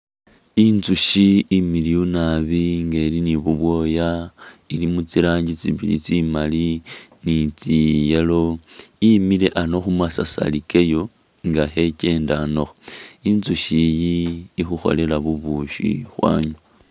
Inzushi imiliyu naabi nga ili ne bubwoya, ili mutsirangi tsibili tsibili tsimali tse yellow, imile ano mumasasari kayo nga khekendanakho, inzushi iyi ikhukholela bubushi, khwanywa.